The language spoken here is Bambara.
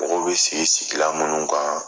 Mɔgɔw bɛ sigi sigilan minnu kan